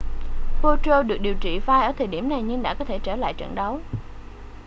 potro được điều trị vai ở thời điểm này nhưng đã có thể trở lại trận đấu